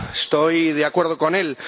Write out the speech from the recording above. Estoy de acuerdo con él.